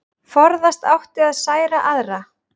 Forðast átti að særa aðra.